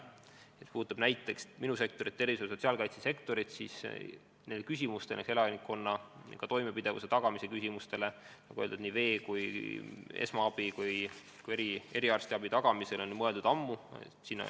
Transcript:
Mis puudutab minu sektorit, eriti sotsiaalkaitse sektorit, siis nendele küsimustele ehk kõige toimepidevuse tagamise, näiteks vee, esmaabi ja ka eriarstiabi tagamise küsimustele on mõeldud ammu.